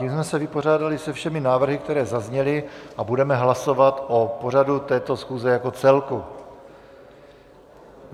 Tím jsme se vypořádali se všemi návrhy, které zazněly, a budeme hlasovat o pořadu této schůze jako celku.